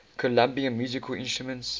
colombian musical instruments